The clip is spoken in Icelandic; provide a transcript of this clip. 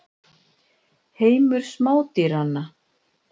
Heimur smádýranna.